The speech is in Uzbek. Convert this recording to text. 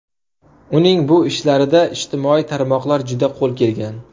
Uning bu ishlarida ijtimoiy tarmoqlar juda qo‘l kelgan.